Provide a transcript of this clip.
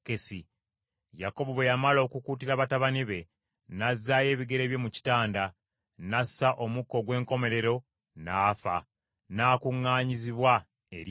Yakobo bwe yamala okukuutira batabani be, n’azaayo ebigere bye mu kitanda, n’assa omukka ogw’enkomerero n’afa n’akuŋŋaanyizibwa eri abantu be.